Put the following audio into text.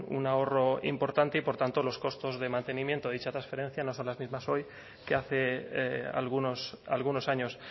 un ahorro importante y por tanto los costos de mantenimiento de dicha transferencia no son las mismas hoy que hace algunos años